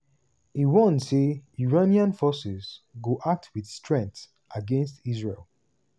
e warn say iranian forces go "act wit strength" against israel.